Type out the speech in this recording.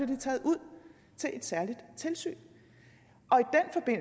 de taget ud til et særligt tilsyn